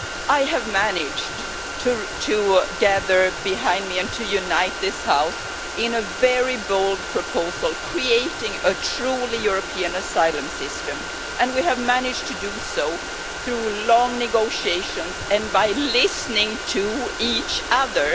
I have managed to gather behind me and to unite this House in a very bold proposal, creating a truly European Asylum System, and we have managed to do so through long negotiations and by listening to each other.